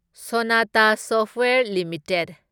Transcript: Sonata software limited